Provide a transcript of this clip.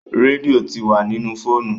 Rédíò tí wá nínú fóònù.